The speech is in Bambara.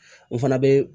N fana bɛ